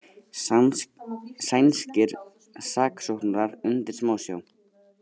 Sænskir saksóknarar undir smásjá